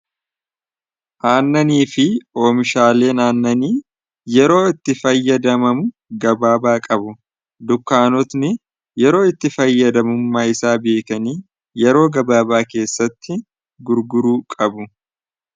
Aannanii fi oomishaaleen aannanii yeroo itti fayyadamamu gabaabaa qabu. Dukkaanotni yeroo itti fayyadamummaa isaa beekanii yeroo gabaabaa keessatti gurguruu qabu.